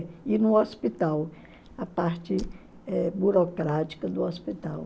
É, e no hospital, a parte eh burocrática do hospital.